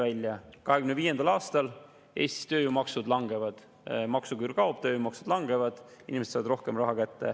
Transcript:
2025. aastal Eestis tööjõumaksud langevad – maksuküür kaob, tööjõumaksud langevad, inimesed saavad rohkem raha kätte.